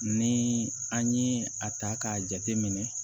Ni an ye a ta k'a jate minɛ